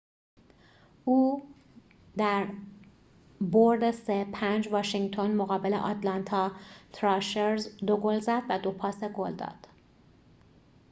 او در برد ۵-۳ واشینگتن مقابل آتلانتا تراشرز ۲ گل زد و ۲ پاس گل داد